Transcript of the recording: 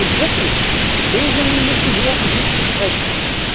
Und drittens Lösungen müssen her und nicht Besprechungen.